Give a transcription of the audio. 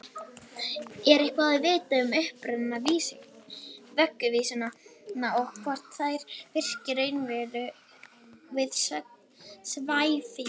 Er eitthvað vitað um uppruna vögguvísna og hvort þær virki raunverulega við svæfingu?